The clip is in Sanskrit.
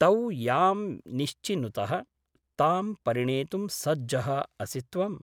तौ यां निश्चिनुतः तां परिणेतुं सज्जः असि त्वम् ।